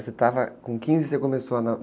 Você estava com quinze e começou a